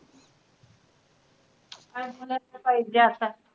काई मला त